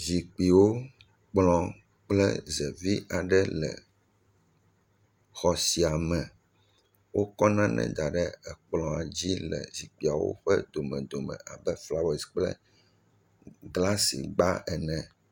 Zikpuiwo, kplɔ kple zevi aɖe le xɔ sia me. Wokɔ nane da ɖe akplɔa dzi le zikpuiawo ƒe domedome abe flawasi kple glasigba ene.